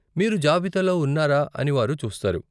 మీరు జాబితాలో ఉన్నారా అని వారు చూస్తారు.